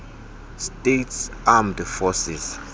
states armed forces